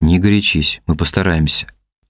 не горячись мы постараемся